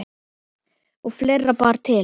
Og fleira bar til.